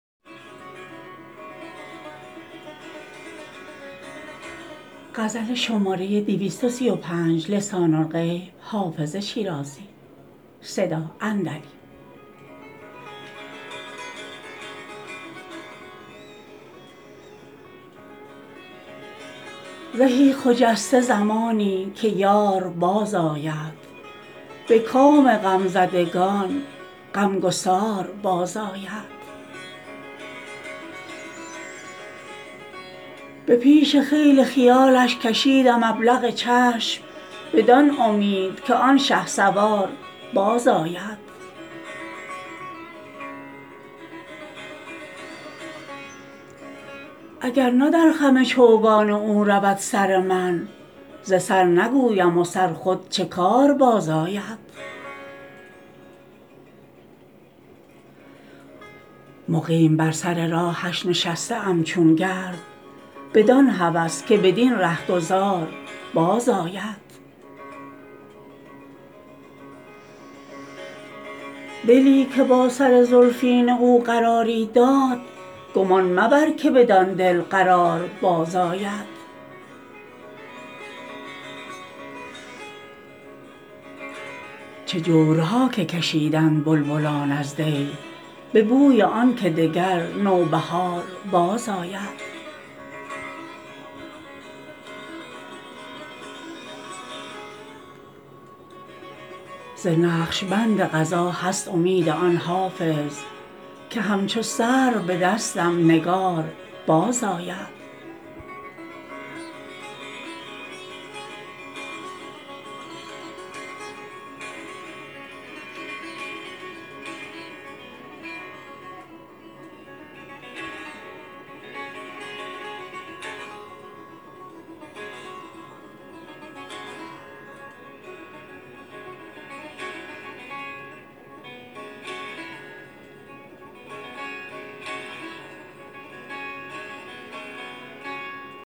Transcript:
زهی خجسته زمانی که یار بازآید به کام غمزدگان غمگسار بازآید به پیش خیل خیالش کشیدم ابلق چشم بدان امید که آن شهسوار بازآید اگر نه در خم چوگان او رود سر من ز سر نگویم و سر خود چه کار بازآید مقیم بر سر راهش نشسته ام چون گرد بدان هوس که بدین رهگذار بازآید دلی که با سر زلفین او قراری داد گمان مبر که بدان دل قرار بازآید چه جورها که کشیدند بلبلان از دی به بوی آن که دگر نوبهار بازآید ز نقش بند قضا هست امید آن حافظ که همچو سرو به دستم نگار بازآید